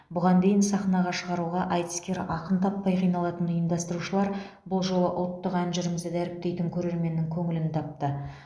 бұған дейін сахнаға шығаруға айтыскер ақын таппай қиналатын ұйымдастырушылар бұл жолы ұлттық ән жырымызды дәріптейтін көрерменнің көңілін тапты